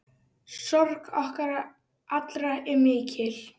Sorg okkar allra er mikil.